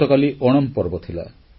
ଗତକାଲି ଓଣମ୍ ପର୍ବ ଥିଲା